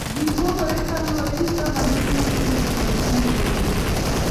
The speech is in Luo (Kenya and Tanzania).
Gipogore kaluwore gi kama giwuokye kod timbegi,